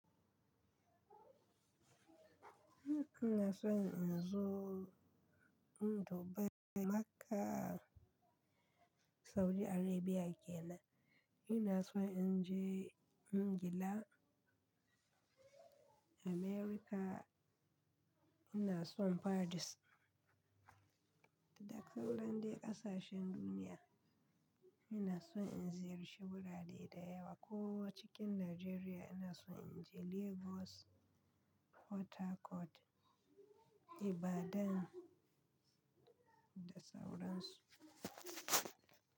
Ina son in zo, in zo ba Makka a Saudi Arabia kenan. Ina son in je ingila, America. Ina son Paris da sauran dai ƙasashen duniya. Ina son in ziyarci wurare da yawa ko cikin Najeriya ina son in je Lagos, Port Harcourt, Ibadan da sauran su.